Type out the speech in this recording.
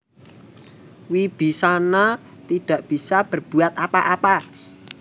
Wibisana tak bisa berbuat apa apa